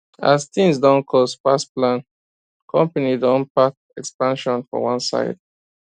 as things don cost pass plan company don park expansion for one side